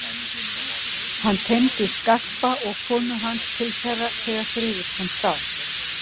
Hann teymdi Skarpa og konu hans til þeirra þegar friður komst á.